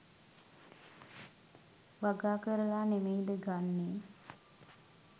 වගා කරලා නෙමෙයිද ගන්නේ?